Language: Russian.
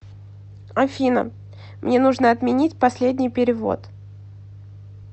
афина мне нужно отменить последний перевод